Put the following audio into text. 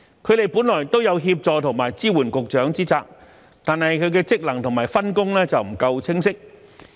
他們本來都有協助和支援局長之責，但其職能及分工卻不夠清晰。